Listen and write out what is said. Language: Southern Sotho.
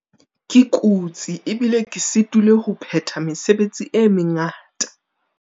Ke kutse ebile ke sitilwe ho phetha mesebetsi e mengata.